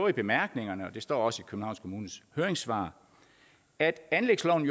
i bemærkningerne og det står også i københavns kommunes høringssvar at anlægsloven